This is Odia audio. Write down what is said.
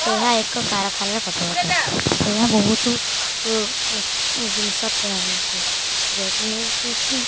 ଏହା ଏକ କାରଖାନା ର ଫଟୋଅଟେ ଏହା ବହୁତ ଉ ଇଁ ଇଁ ଜିନିଷ ଥୁଆ ହେଇଚି ଯେମିତିକି।